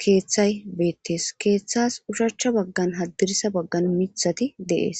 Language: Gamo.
kethay betes kethas oshach bagaan hadira bagan mithati de'es